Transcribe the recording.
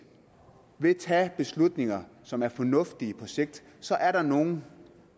tage beslutninger som er fornuftige på sigt så er der nogen